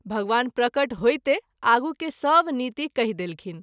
भगवान प्रकट होइते आगू के सभ नीति कहि देलखिन।